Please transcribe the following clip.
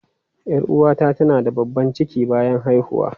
Yar uwata tana da babban ciki bayan haihuwa.